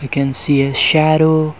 we can see a shadow.